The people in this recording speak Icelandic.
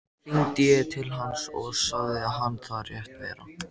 Hringdi ég til hans og sagði hann það rétt vera.